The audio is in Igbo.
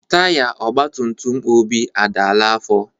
Taiya ogbatumtum Obi adala afọ.